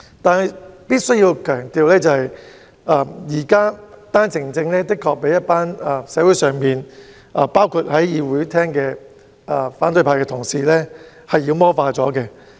但是，我須強調，現時單程證的確被社會，包括會議廳的反對派同事妖魔化。